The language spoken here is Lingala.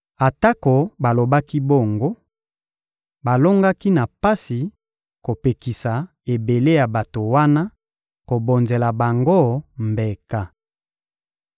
Atako balobaki bongo, balongaki na pasi kopekisa ebele ya bato wana kobonzela bango mbeka.